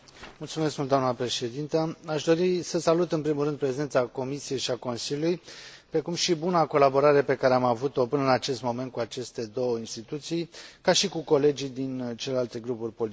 Aș dori să salut, în primul rând, prezența Comisiei și a Consiliului, precum și buna colaborare pe care am avut o până în acest moment cu aceste două instituții, ca și cu colegii din celelalte grupuri politice.